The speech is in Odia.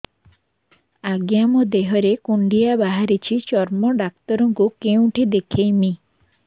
ଆଜ୍ଞା ମୋ ଦେହ ରେ କୁଣ୍ଡିଆ ବାହାରିଛି ଚର୍ମ ଡାକ୍ତର ଙ୍କୁ କେଉଁଠି ଦେଖେଇମି